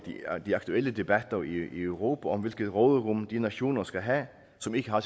de aktuelle debatter i europa om hvilket råderum de nationer skal have som ikke har